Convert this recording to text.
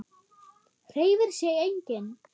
Hreyfir sig enginn?